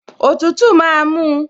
Òtútù máa mú un